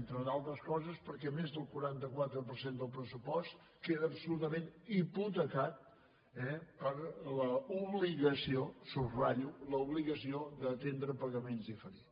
entre d’altres coses perquè més del quaranta quatre per cent del pressupost queda absolutament hipotecat eh per l’obligació ho subratllo l’obligació d’atendre pagaments diferits